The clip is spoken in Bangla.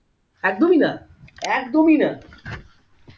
একদমই না একদমই না